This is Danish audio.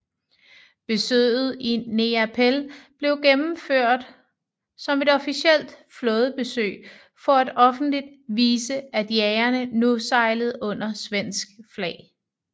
Besøget i Neapel blev gennemført som et officielt flådebesøg for at offentligt vise at jagerne nu sejlede under svensk flag